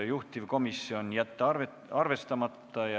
Juhtivkomisjon: jätta arvestamata.